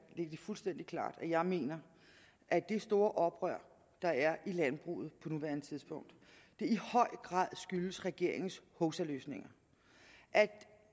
det fuldstændig klart at jeg mener at det store oprør der er i landbruget på nuværende tidspunkt i høj grad skyldes regeringens hovsaløsninger